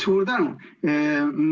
Suur tänu!